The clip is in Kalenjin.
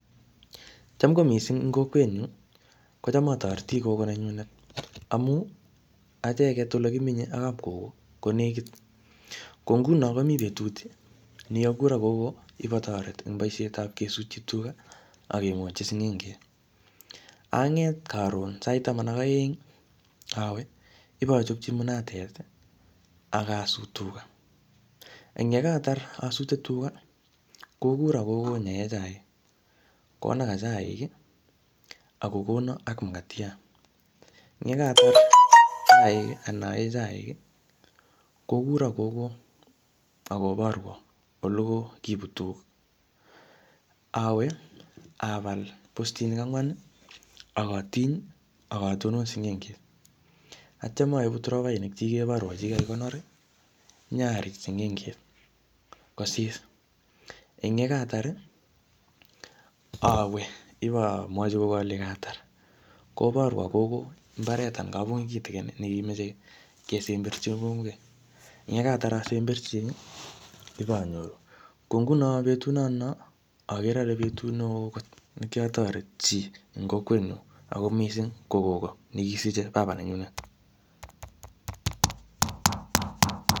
Cham ko missing ing kokwet nyu, kocham atoreti kogo nenyunet. Amuu, acheket ole kimenye ak kap kogo, ko nekit. Ko nguno komii betut ne kikakuro kogo ipotoret eng bosiet ap kesutchi tuga, akengotchi sing'enget. Anget karon, sait taman ak aeng, awe, ipochocphi munatet, akasut tuga. Eng yekatar asute tuga, kokuro kogo nyae chaik. Konaka chaik, akokona ak mukatiat. Eng yekatar chaik anan aee chaik, kokuro kogo akoborwo ole ko kibut tuga. Awee, apal postinik angwan, akatiny, akatonon sing'enget. Atyam aibu tropainik che kiborwo che kikakonor, nyarij sing'enget kosisi. Eng yekatar, awee, ipomwochi kogo ale katar. Koborwo kogo mbaret anan kabungui kitikin ne kimeche kesemberchi kokeny. Eng yekatar asemberchi, iponyoru. Ko nguno betut notono, agere ale betut neoo kot ne kiatoret chii eng kokwet nyu. Ako missing, ko kogo ne kisije baba nenyunet